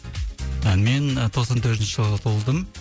мен тоқсан төртінші жылы туылдым